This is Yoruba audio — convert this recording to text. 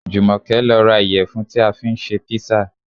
Jùmọ̀kẹ́ lọ ra ìyẹ̀fun tí a fi ṣe písà